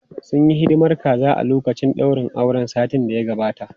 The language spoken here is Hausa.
Sun yi hidimar kaza a lokacin daurin auren satin da ya gabata.